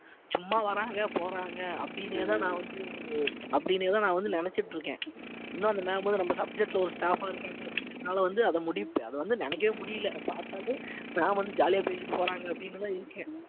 சும்மா வர்றாங்க போறாங்க அப்படின்னேதான் நான் வந்து அப்படின்னேதான் நான் வந்து நினைச்சிட்டு இருக்கேன் இன்னும் அந்த ma'am வந்து நம்ம subject ல ஒரு staff ஆ இருக்காங்க அப்பிடின்னு என்னால வந்து அது முடிவு அது வந்து நினைக்கவே முடியல பார்த்தாலே ma'am வந்து jolly ஆ பேசிட்டு போறாங்க அப்படின்னுதான் இருக்கேன்